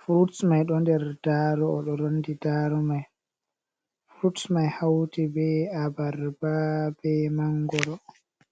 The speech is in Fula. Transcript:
Frutsmai ɗo nder darow. O ɗo rondi darow mai fruts mai hauti be abarbabe, ɓe mangoro.